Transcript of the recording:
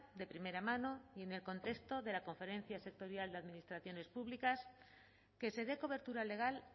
de primera mano y en el contexto de la conferencia sectorial de administraciones públicas que se dé cobertura legal